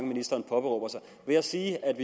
ministeren påberåber sig ved at sige at